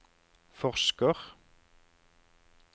forsker